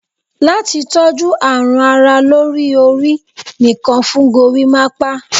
Lati toju arun ara lori ori, nìkan fun gorimapa